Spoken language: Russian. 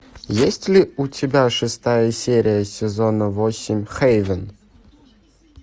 есть ли у тебя шестая серия сезона восемь хейвен